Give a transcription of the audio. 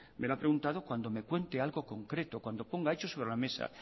me lo ha preguntado cuando me cuente algo concreto cuando ponga hechos sobre la mesa